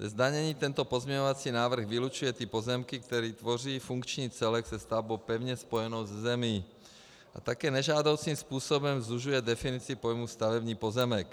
Ze zdanění tento pozměňovací návrh vylučuje ty pozemky, které tvoří funkční celek se stavbou pevně spojenou se zemí, a také nežádoucím způsobem zužuje definici pojmu stavební pozemek.